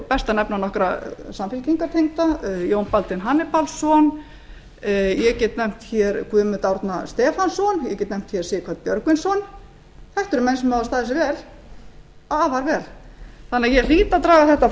best að nefna nokkra samfylkingartengda jón baldvin hannibalsson ég get nefnt hér guðmund árna stefánsson ég get nefnt hér sighvat björgvinsson þetta eru menn sem hafa staðið sig vel afar vel þannig að ég hlýt að draga þetta